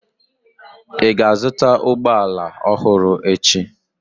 Ị ga-azụta ụgbọ ala ọhụrụ echi?